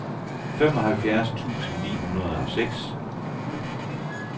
femoghalvfjerds tusind ni hundrede og seks